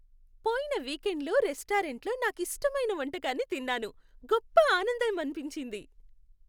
పోయిన వీకెండ్లో రెస్టారెంట్లో నాకిష్టమైన వంటకాన్ని తిన్నాను, గొప్ప ఆనందం అనిపించింది.